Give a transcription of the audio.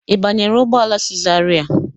Ị banyere ụgbọ ala si zarai?